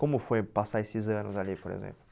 Como foi passar esses anos ali, por exemplo?